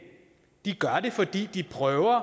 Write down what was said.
de gør det fordi de prøver at